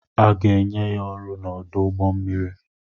A ga-enye ya ọrụ n'ọdụ ụgbọ mmiri.